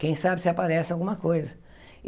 Quem sabe se aparece alguma coisa.